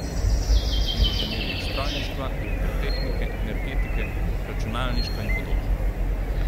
Inženirjih strojništva, elektrotehnike, energetike, računalništva in podobno.